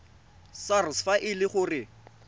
sars fa e le gore